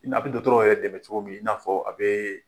A bɛ dɔgɔtɔrɔ yɛrɛ dɛmɛ cogo min i n'a fɔ a bɛɛ